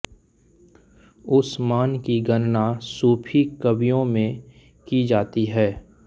उसमान की गणना सूफ़ी कवियों में की जाती है